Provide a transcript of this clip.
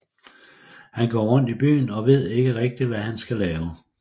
Han går rundt i byen og ved ikke rigtig hvad han skal lave